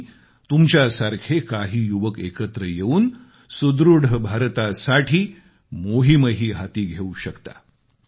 आणि तुमच्यासारखे काही युवक एकत्र येऊन सुदृढ भारतासाठी मोहीमही हाती घेऊ शकता